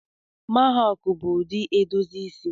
Mahawk bụ ụdị edozi isi